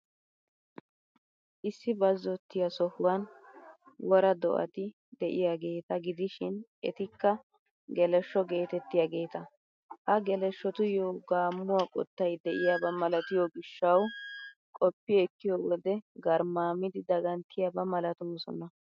Issi bazzottiya sohuwan wora do'ati de'iyaageeta gidishin etikka geleshsho geetettiyaageeta. Ha geleshshotuyyo gaammuwaa qottay de'iyaaba malatiyoo gishshawu, qoppi ekkiyo wode garmmaamidi daganttiyaaba malatoosona.